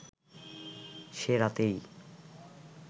সে রাতেই